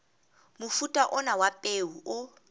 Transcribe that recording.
mofuta ona wa peo o